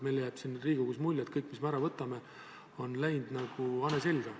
Meile jääb siin Riigikogus mulje, et kõik, mis me ära võtame, on läinud nagu hane selga.